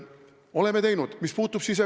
Oleme teinud!